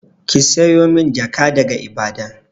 Ki siyo min jaka daga Ibadan!